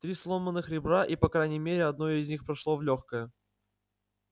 три сломанных ребра и по крайней мере одно из них прошло в лёгкое